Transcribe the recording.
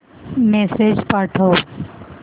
message पाठव